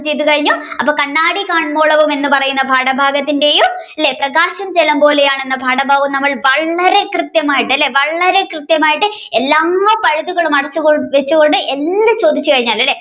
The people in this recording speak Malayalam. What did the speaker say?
ചെയ്തു കഴിഞ്ഞു അപ്പോൾ കണ്ണാടി കാണ്മോളാവും എന്ന് പറയുന്ന പാഠഭാഗത്തിന്റെയും പ്രകാശം ജലം പോലെയാണ് എന്ന പാഠഭാഗവും വളരെ കൃത്യമായിട്ട് അല്ലെ വളരെ കൃത്യമായിട്ട് എല്ലാ പഴുതുകളും അടച്ചു കൊണ്ട് എന്ത് ചോദിച്ചു കഴിഞ്ഞാലും അല്ലെ